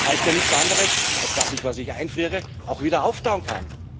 Das heißt ja nichts anderes, als dass ich das, was ich einfriere, auch wieder auftauen kann.